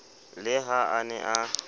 le ha a ne a